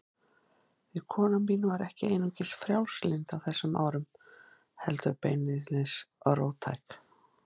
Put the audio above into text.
Því kona mín var ekki einungis frjálslynd á þessum árum, heldur beinlínis róttæk.